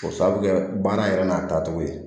O sababu kɛ baara yɛrɛ n'a taacogo ye